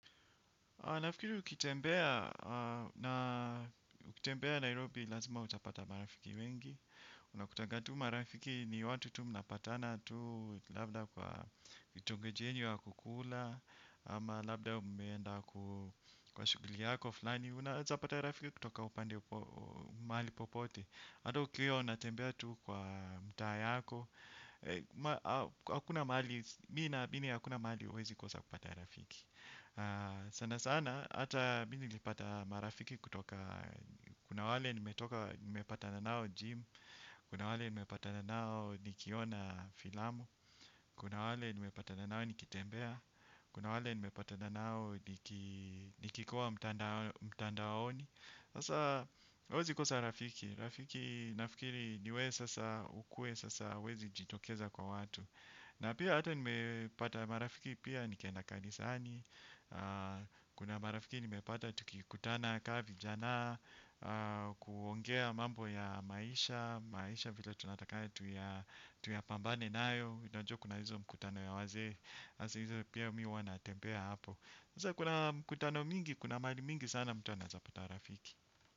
Nafikiri ukitembea na ukitembea Nairobi lazima utapata marafiki wengi. Unakutanga tu marafiki ni watu tu mnapatana tu labda kwa vitongoji yenyu ya kukula. Ama labda umeenda kwa shughuli yako fulani. Unaezapata rafiki kutoka upande mahali popote. Hata ukiwa unatembea tu kwa mtaa yako. Hakuna mahali, mi naamini hakuna mahali huwezi kosa kupata rafiki. Sana sana hata mi nilipata marafiki kutoka kuna wale nimepatana nao gym. Kuna wale nimepatana nao nikiona filamu. Kuna wale nimepatana nao nikitembea. Kuna wale nimepatana nao nikikua mtandaoni. Sasa huwezi kosa rafiki. Rafiki nafikiri niwewe sasa ukue sasa huwezi jitokeza kwa watu. Na pia hata nimepata marafiki pia nikienda kanisani. Kuna marafiki nimepata tukikutana kaa vijana. Kuongea mambo ya maisha. Maisha vile tunataka tuyapambane nayo unajua kuna hizo mkutano ya wazee. Hasa hizo pia mi huwa natembea hapo. Kuna mkutano mingi, kuna mahali mingi sana mtu anaezapata rafiki.